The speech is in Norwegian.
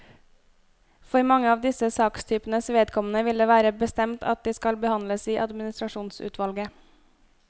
For mange av disse sakstypenes vedkommende vil det være bestemt at de skal behandles i administrasjonsutvalget.